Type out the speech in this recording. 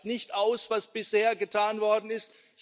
Es reicht nicht aus, was bisher getan worden ist.